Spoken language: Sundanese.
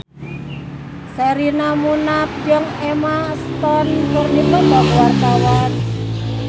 Sherina Munaf jeung Emma Stone keur dipoto ku wartawan